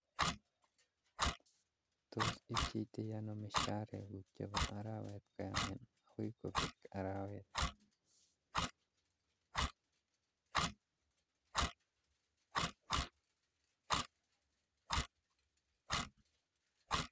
Tos ipcheitoi anoo misharek kuk chebo arawet koyamin akoi kobek arawet